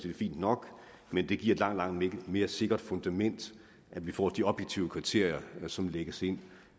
er fint nok men det giver et langt langt mere sikkert fundament at vi får de objektive kriterier som lægges ind